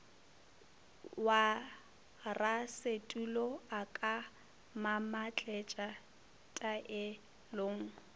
warasetulo a ka mamatletša taelong